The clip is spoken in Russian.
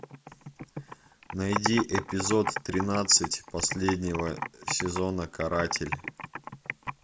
найди эпизод тринадцать последнего сезона каратель